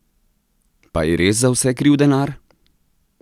Pa je res za vse kriv denar?